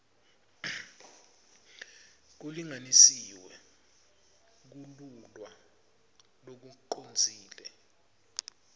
kulinganisiwe kululwa lokucondzile